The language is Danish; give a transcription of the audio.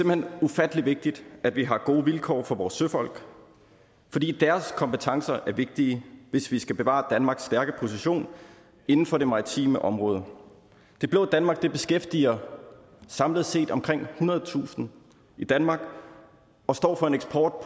hen ufattelig vigtigt at vi har gode vilkår for vores søfolk fordi deres kompetencer er vigtige hvis vi skal bevare danmarks stærke position inden for det maritime område det blå danmark beskæftiger samlet set omkring ethundredetusind i danmark og står for en eksport